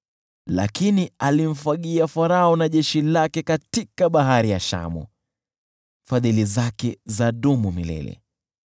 Lakini alimfagia Farao na jeshi lake katika Bahari ya Shamu, Fadhili zake zadumu milele .